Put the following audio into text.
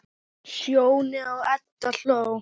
Sjóni og Edda hló.